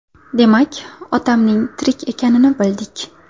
Demak, otamning tirik ekanini bildik.